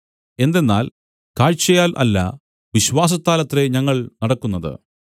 എന്തെന്നാൽ കാഴ്ചയാൽ അല്ല വിശ്വാസത്താലത്രേ ഞങ്ങൾ നടക്കുന്നത്